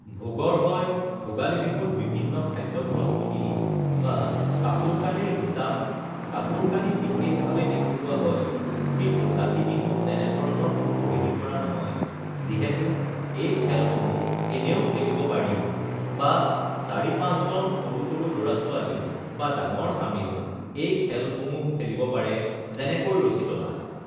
ভোগৰ হয় ভোগালী বিহুত বিভিন্ন খাদ্য প্ৰস্তুতি বা কাপোৰ-কানিৰ হিচাপ কাপোৰ-কানি বিশেষভাৱে দেখুওৱা হয় কিন্তু কাতি বিহুত তেনে ধৰণৰ কোনো হেৰি কৰা নহয় যিহেতু এই খেলসমূহ এনেও খেলিব পাৰি বা চাৰি-পাঁচজন সৰু সৰু ল'ৰা-ছোৱালী বা ডাঙৰ চামেও এই খেলসমূহ খেলিব পাৰে যেনেকৈ ৰছী টনা